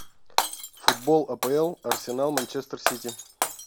футбол апл арсенал манчестер сити